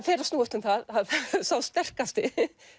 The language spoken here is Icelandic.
fer að snúast um það að sá sterkasti